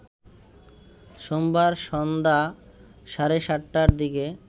সোমবার সন্ধ্যা সাড়ে ৭টার দিকে